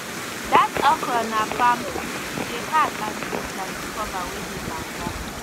dat okra na palm tooth e dey hard and thick like di cover wey dey banga